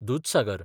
Dudhsagar